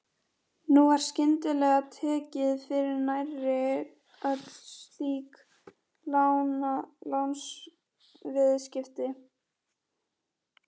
Nú var skyndilega tekið fyrir nærri öll slík lánsviðskipti.